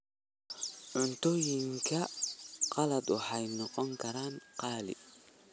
Cuntooyinka qalaad waxay noqon karaan qaali.